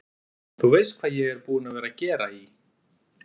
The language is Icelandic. Þú veist hvað ég er búinn að vera að gera í.